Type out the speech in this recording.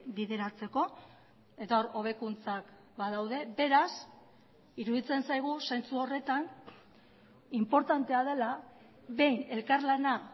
bideratzeko eta hor hobekuntzak badaude beraz iruditzen zaigu zentzu horretan inportantea dela behin elkarlana